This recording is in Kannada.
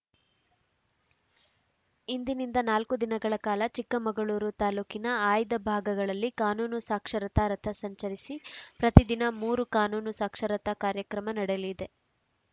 ಇಂದಿನಿಂದ ನಾಲ್ಕು ದಿನಗಳ ಕಾಲ ಚಿಕ್ಕಮಗಳೂರು ತಾಲೂಕಿನ ಆಯ್ದ ಭಾಗಗಳಲ್ಲಿ ಕಾನೂನು ಸಾಕ್ಷರತಾ ರಥ ಸಂಚರಿಸಿ ಪ್ರತಿದಿನ ಮೂರು ಕಾನೂನು ಸಾಕ್ಷರತಾ ಕಾರ್ಯಕ್ರಮ ನಡೆಯಲಿದೆ